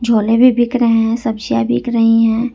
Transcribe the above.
झोले भी बिक रहे हैं सब्जी बिक रही हैं।